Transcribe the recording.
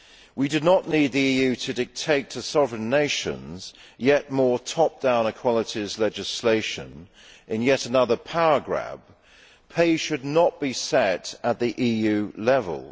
We do not need the EU to dictate to sovereign nations yet more top down equalities legislation in yet another power grab. Pay should not be set at the EU level.